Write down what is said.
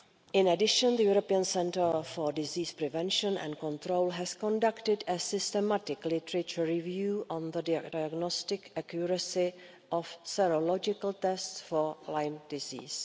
In addition, the European Centre for Disease Prevention and Control has conducted a systematic literature review on the diagnostic accuracy of serological tests for Lyme disease.